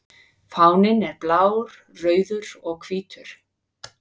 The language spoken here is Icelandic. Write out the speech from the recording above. Fáninn er blár, rauður og hvítur.